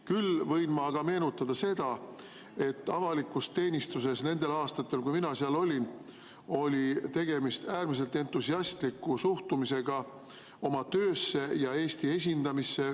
Küll võin ma meenutada seda, et avalikus teenistuses nendel aastatel, kui mina seal olin, oli tegemist äärmiselt entusiastliku suhtumisega oma töösse ja Eesti esindamisse.